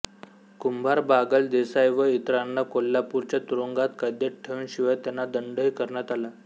कुंभार बागल देसाई व इतरांना कोल्हापूरच्या तुरुंगात कैदेत ठेवून शिवाय त्यांना दंड ही करण्यात आला